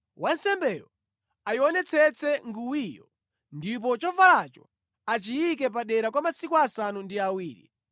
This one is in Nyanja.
Wansembeyo ayionetsetse nguwiyo ndipo chovalacho achiyike padera kwa masiku asanu ndi awiri.